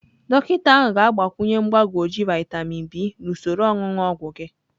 Dọkịta ahụ ga-agbakwunye mgbagwoju vaịtamịn B na usoro onunu ogwu gị.